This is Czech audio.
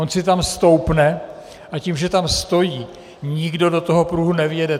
On si tam stoupne, a tím, že tam stojí, nikdo do toho pruhu nevjede.